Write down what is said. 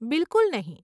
બિલકુલ નહીં.